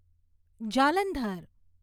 Jalandhar